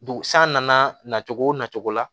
Dugu san nana na cogo o na cogo la